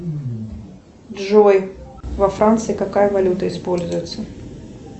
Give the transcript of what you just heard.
джой во франции какая валюта используется